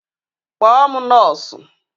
Kpọọ m nọọsụ